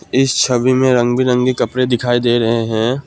इस छवि में रंग बिरंगे कपड़े दिखाई दे रहे हैं।